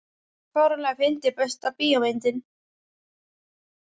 fáránlega fyndið Besta bíómyndin?